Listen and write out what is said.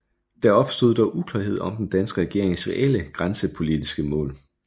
Der opstod dog uklarhed om den danske regerings reelle grænsepolitiske mål